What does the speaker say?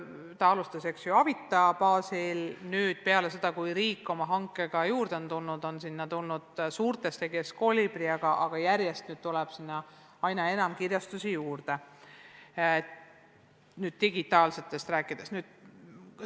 Opiq alustas Avita baasil, aga nüüd peale seda, kui riik oma hankega juurde on tulnud, on sellega liitunud suurtest tegijatest ka Koolibri ja sinna tuleb kirjastusi järjest juurde, kui digitaalsest õppevarast rääkida.